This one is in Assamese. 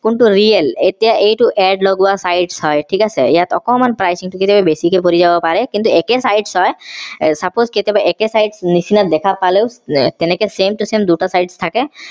কোনটো real এতিয়া এইটো add লগোৱা size হয় ঠিক আছে ইয়াত অকণমান pricing টো বেছিকে পৰি যাব পাৰে কিন্তু একে site হয় suppose কেতিয়াবা একেই site নিচিনা দেখা পালেও তেনেকে same to same দুটা site থাকে